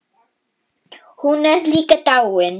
Hún er líka dáin.